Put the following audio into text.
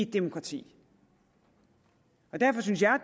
demokrati derfor synes jeg